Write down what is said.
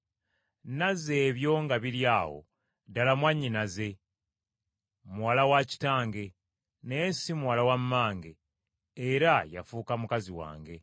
Naze ebyo nga biri awo ddala mwannyinaze, muwala wa kitange, naye si muwala wa mmange; era yafuuka mukazi wange.